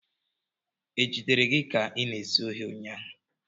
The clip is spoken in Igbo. Ejidere gị ka ị na-ezu ohi ụnyahụ?